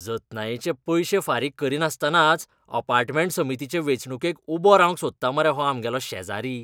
जतनायेचे पयशे फारीक करिनासतनाच अपार्टमेंट समितीचे वेंचणुकेक उबो रावंक सोदता मरे हो आमगेलो शेजारी!